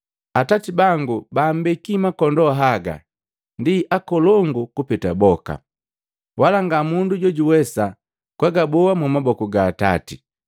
Atati bangu baambeki makondoo haga ndi nkolongu kupeta boka, wala nga mundu jojuwesa kwagaboa mumaboku ga Atati.